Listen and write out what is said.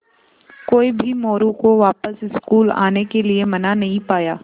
कोई भी मोरू को वापस स्कूल आने के लिये मना नहीं पाया